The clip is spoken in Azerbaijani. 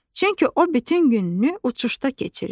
Çünki o bütün gününü uçuşda keçirir.